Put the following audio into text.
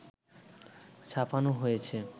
ছাপানো হয়েছে